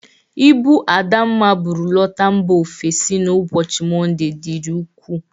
Ibụ Adamma bụrụ lọta mba ofesi n' ubochi Monde dịri ukwu.